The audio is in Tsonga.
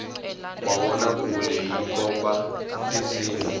mavonakule yi komba tisimu